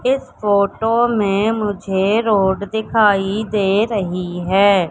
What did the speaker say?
इस फोटो मे मुझे रोड दिखाई दे रही है।